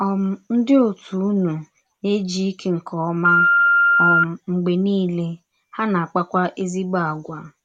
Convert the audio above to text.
um Ndị òtù ụnụ na - ejike nke ọma um mgbe niile, ha na - akpakwa ezịgbọ àgwà.